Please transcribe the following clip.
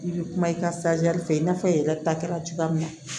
I bɛ kuma i ka fɛ i n'a fɔ i yɛrɛ ta kɛra cogoya min na